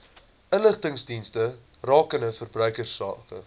inligtingsdienste rakende verbruikersake